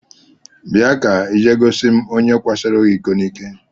Bịa ka ị jee gosi m onye kwasoro gị iko n'ike!